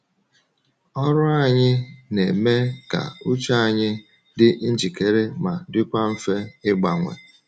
Ọrụ anyị na-eme ka uche anyị dị njikere ma dịkwa mfe ịgbanwe.